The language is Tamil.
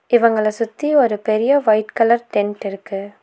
இவங்கள சுத்தி ஒரு பெரிய வைட் கலர் டென்ட் இருக்கு.